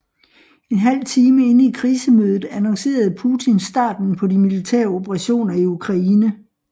En halv time inde i krisemødet annoncerede Putin starten på de militære operationer i Ukraine